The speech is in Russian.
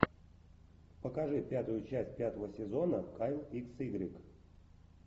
покажи пятую часть пятого сезона кайл икс игрек